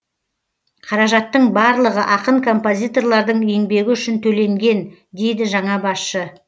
қаражаттың барлығы ақын композиторлардың еңбегі үшін төленген дейді жаңа басшы